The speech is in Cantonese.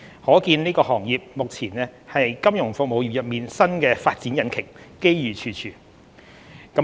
可見這個行業目前是金融服務業中新的發展引擎，機遇處處。